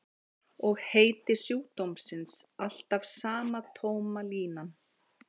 Og heiti sjúkdómsins alltaf sama tóma línan.